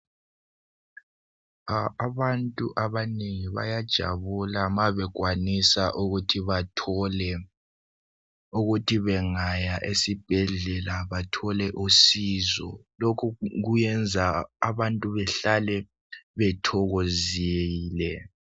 Abantu abanengi bayajabula mabekwanisa ukuthi bangaya esibhedlela bathole usizo lokhu kwenza abantu bahlale betholozile.